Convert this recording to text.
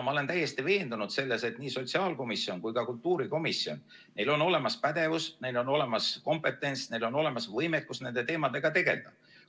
Ma olen täiesti veendunud, et nii sotsiaalkomisjonil kui ka kultuurikomisjonil on olemas pädevus, neil on olemas kompetents, neil on olemas võimekus nende teemadega tegeleda.